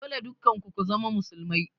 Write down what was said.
Dole dukkan ku ku zama musulmai